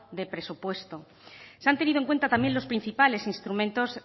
de presupuesto se han tenido en cuenta también los principales instrumentos